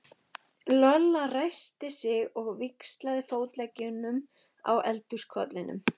Lolla ræskti sig og víxlaði fótleggjunum á eldhúskollinum.